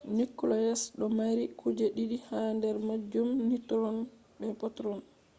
nucleus do mari kuje didi ha der majum - neutrons be protons